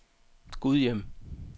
Gudhjem